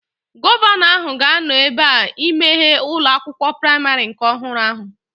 Gọvanọ ahụ ga-anọ ebea imeghe ụlọ akwụkwọ praimarị nke ọhụrụ ahụ